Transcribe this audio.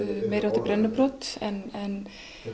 meiri háttar brennubrot en